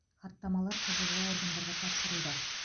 хаттамалар құзырлы органдарға тапсырылды